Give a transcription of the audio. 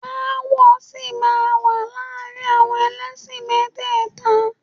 Aáwọ̀ sì máa wà láàrin àwọn ẹlẹ́sìn mẹ́tẹ́ẹ̀ta